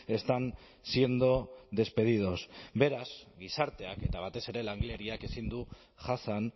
están siendo despedidos beraz gizarteak eta batez ere langileriak ezin du jasan